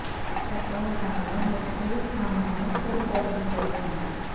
سینکڑوں گاڑیوں مختلف تھانوں میں کھڑی کر دی گئی ہیں